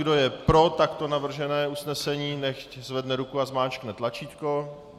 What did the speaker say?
Kdo je pro takto navržené usnesení, nechť zvedne ruku a zmáčkne tlačítko.